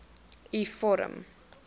u vorm